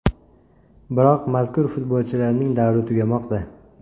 Biroq mazkur futbolchilarning davri tugamoqda.